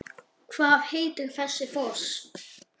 Hvað heitir þessi foss?